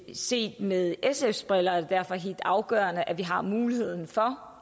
set med sfs briller er det derfor helt afgørende at i har muligheden for